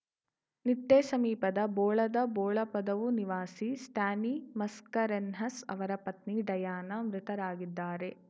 ನಿಟ್ಟೆಸಮೀಪದ ಬೋಳದ ಬೋಳಪದವು ನಿವಾಸಿ ಸ್ಟ್ಯಾನಿ ಮಸ್ಕರೇನ್ಹಸ್‌ ಅವರ ಪತ್ನಿ ಡಯಾನ ಮೃತರಾಗಿದ್ದಾರೆ